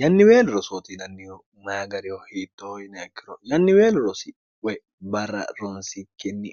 yanniweelo rosootiinannihu mayi gariho hiittooinayikkiro yanniweelo rosi woy barra ronsikkinni